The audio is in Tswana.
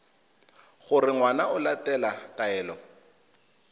gore ngwana o latela taelo